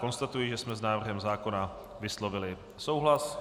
Konstatuji, že jsme s návrhem zákona vyslovili souhlas.